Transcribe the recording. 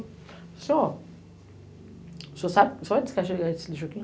Falei assim, ó, o senhor sabe, o senhor vai descarregar esse lixo aqui?